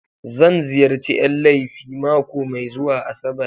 Zan ziyarci Yan laifi mako mai zuwa Asabar.